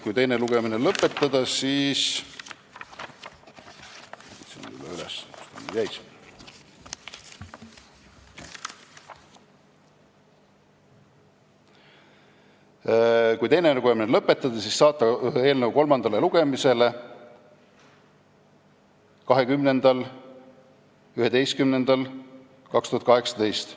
Kui teine lugemine lõpetada, siis – otsin selle üles, kuhu ta mul jäi – saata eelnõu kolmandale lugemisele 20.11.2018.